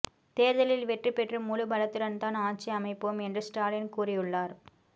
தேர்தலில் வெற்றி பெற்று முழு பலத்துடன் தான் ஆட்சி அமைப்போம் என்று ஸ்டாலின் கூறியுள்ளார்